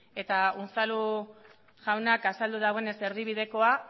eta unzalu jaunak azaldu duenez erdibidekoa